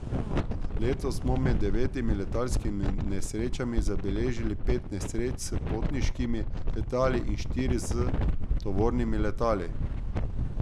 Letos so med devetimi letalskimi nesrečami zabeležili pet nesreč s potniškimi letali in štiri s tovornimi letali.